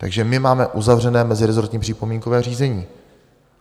Takže my máme uzavřené meziresortní připomínkové řízení.